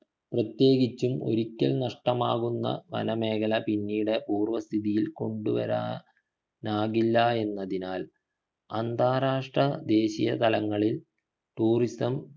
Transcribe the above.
പ്രത്യേകിച്ചും ഒരിക്കൽ നഷ്ടമാകുന്ന വനമേഖല പിന്നീട് പൂർവസ്ഥിതിയിൽ കൊണ്ടുവരാ നാകില്ല എന്നതിനാൽ അന്താരാഷ്ട്ര ദേശീയ തലങ്ങളിൽ tourism